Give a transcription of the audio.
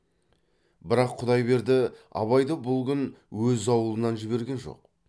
бірақ құдайберді абайды бұл күн өз аулынан жіберген жоқ